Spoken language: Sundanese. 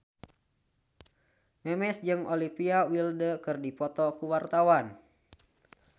Memes jeung Olivia Wilde keur dipoto ku wartawan